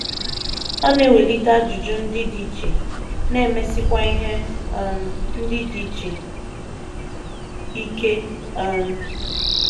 Ọ na - ewelite ajụjụ ndị dị iche, na - emesikwa ihe um ndị dị iche ike um.